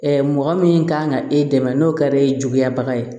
mɔgɔ min kan ka e dɛmɛ n'o kɛra e ye juguya baga ye